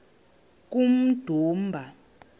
kummdumba